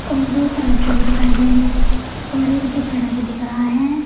और दो तराजू भी दिखाई दे रहा है और एक भी दिख रहा है।